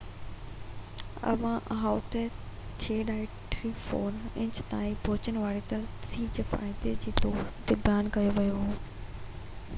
Ohio تي 6.34 inch تائين پهچڻ واري ترسيب کي فائدي جي طور تي بيان ڪيو ويو هو